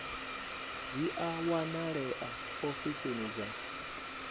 dzi a wanalea ofisini dza